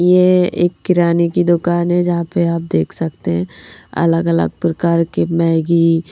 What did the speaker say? यह एक किराने की दुकान है जहां पे आप देख सकते हैं अलग-अलग प्रकार के मैगी--